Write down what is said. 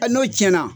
n'o tiɲɛna